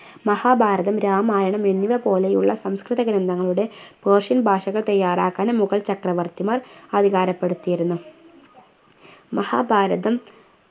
മഹാഭാരതം രാമായണം എന്നിവ പോലെയുള്ള സംസ്‌കൃത ഗ്രന്ഥങ്ങളുടെ persian ഭാഷകൾ തയ്യാറാക്കാനും മുഗൾ ചക്രവർത്തിമാർ അധികാരപ്പെടുത്തിയിരുന്നു മഹാഭാരതം